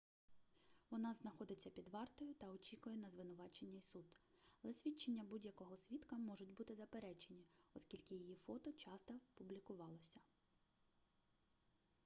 вона знаходиться під вартою та очікує на звинувачення і суд але свідчення будь-якого свідка можуть бути заперечені оскільки її фото часто публікувалося